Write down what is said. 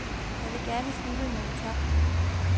Jeg vil gerne slutte med en tak.